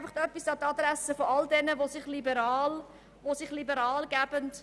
Nun noch etwas an die Adresse derer, die sich liberal geben: